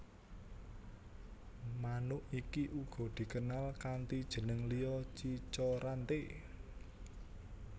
Manuk iki uga dikenal kanti jeneng liya cica rante